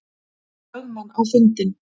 lögmann á fundinn.